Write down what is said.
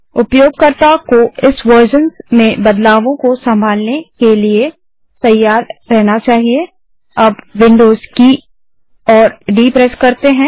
उपयोगकर्ता को इस वेर्ज़न्स के बदलावों को सँभालने के लिए तैयार रहना चाहिएअब विन्डोज़ की और डी प्रेस करते हैं